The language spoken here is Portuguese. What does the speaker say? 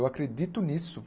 Eu acredito nisso.